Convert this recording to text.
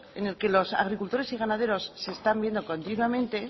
en el que los agricultores y ganaderos se están viendo continuamente